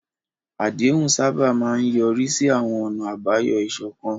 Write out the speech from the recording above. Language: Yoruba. Àdéhùn sábà máa ń yọrí sí àwọn ọ̀nà àbáyọ ìṣọ̀kan.